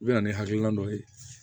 U bɛ na ni hakilina dɔ ye